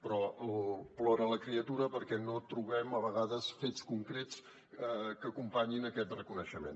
però plora la criatura perquè no trobem a vegades fets concrets que acompanyin aquest reconeixement